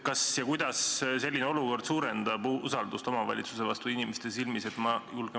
Kas ja kuidas selline olukord suurendab usaldust omavalitsuse vastu inimeste silmis?